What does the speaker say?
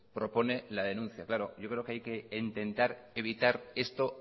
propone la denuncia claro yo creo que hay intentar evitar esto